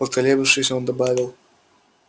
поколебавшись он добавил